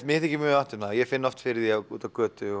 mér þykir mjög vænt um það ég finn oft fyrir því úti á götu